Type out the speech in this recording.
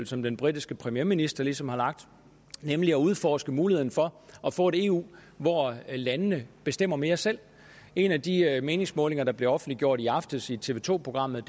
som den britiske premierminister ligesom har lagt nemlig at udforske muligheden for at få et eu hvor landene bestemmer mere selv en af de meningsmålinger der blev offentliggjort i aftes i tv to programmet